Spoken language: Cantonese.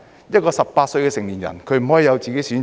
一個18歲的成年人不可以有自己的選擇？